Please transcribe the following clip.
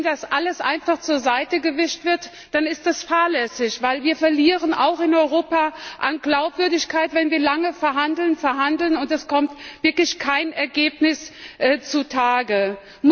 Denn wenn das alles einfach zur Seite gewischt wird, dann ist das fahrlässig, denn wir verlieren auch in Europa an Glaubwürdigkeit, wenn wir lange verhandeln, verhandeln und wirklich kein Ergebnis zustande kommt.